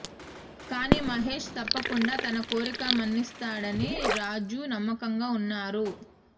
కానీ మహేష్ తప్పకుండా తన కోరిక మన్నిస్తాడని రాజు నమ్మకంగా వున్నారు